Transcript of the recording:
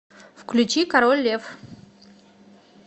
включи король лев